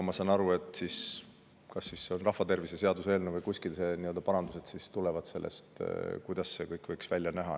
Ma saan aru, et rahvatervishoiu seaduse eelnõus või kuskil tulevad vastavad parandused ja siis selgub, kuidas see kõik võiks välja näha.